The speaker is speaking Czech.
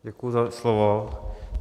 Děkuju za slovo.